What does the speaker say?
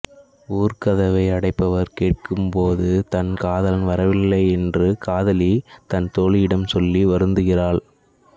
ஊர்க்கதவை அடைப்பவர் கேட்டபோது தன் காதலன் வரவில்லை என்று காதலி தன் தோழியிடம் சொல்லி வருந்துகிறாள்